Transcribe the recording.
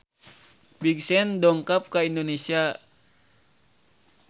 Big Sean dongkap ka Indonesia